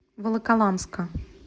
волоколамска